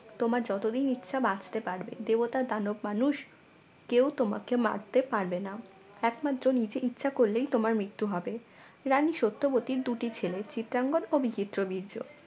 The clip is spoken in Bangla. তোমার যতদিন ইচ্ছা বাঁচতে পারবে দেবতার দানব মানুষ কেউ তোমাকে মারতে পারবে না একমাত্র নিজে ইচ্ছা করলেই তোমার মৃত্যু হবে রানী সত্যবতীর দুটি ছেলে চিত্রাঙ্গন ও বিচিত্র বীর্য